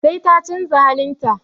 Sai ta canza halin ta.